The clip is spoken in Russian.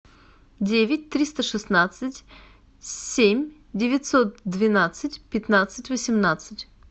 девять триста шестнадцать семь девятьсот двенадцать пятнадцать восемнадцать